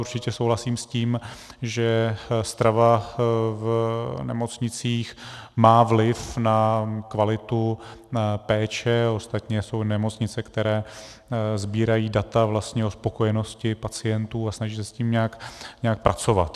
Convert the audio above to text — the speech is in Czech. Určitě souhlasím s tím, že strava v nemocnicích má vliv na kvalitu péče, ostatně jsou nemocnice, které sbírají data o spokojenosti pacientů a snaží se s tím nějak pracovat.